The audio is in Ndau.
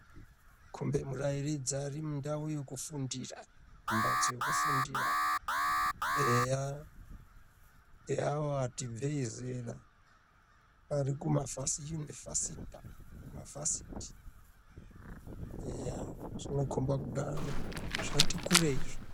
Kumbe murairidzi ari mundau yekufundira mumhatso yekufundira eya neavo vati ibvei zera varikuma vhasiyuni vhasita mavhasiti eya zvinokomba kudaro zvoti kureizve.